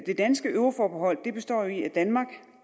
det danske euroforbehold består jo i at danmark